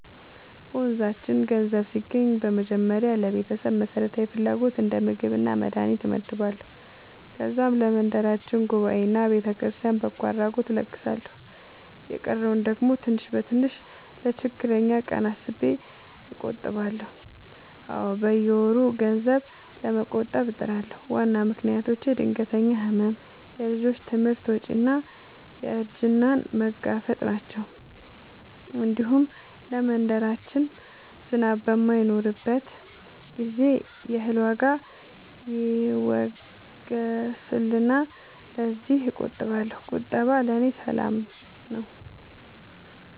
በመንዛችን ገንዘብ ሲገባኝ በመጀመሪያ ለቤተሰብ መሠረታዊ ፍላጎት እንደ ምግብና መድሀኒት እመድባለሁ። ከዛም ለመንደራችን ጉባኤና ለቤተክርስቲያን በጎ አድራጎት እለግሳለሁ። የቀረውን ደግሞ ትንሽ በትንሽ ለችግረኛ ቀን አስቤ እቆጥባለሁ። አዎ፣ በየወሩ ገንዘብ ለመቆጠብ እጥራለሁ። ዋና ምክንያቶቼ ድንገተኛ ሕመም፣ የልጆች ትምህርት ወጪ እና እርጅናን መጋፈጥ ናቸው። እንዲሁም ለመንደራችን ዝናብ በማይኖርበት ጊዜ የእህል ዋጋ ይወገሳልና ለዚያም እቆጥባለሁ። ቁጠባ ለእኔ ሰላም ነው።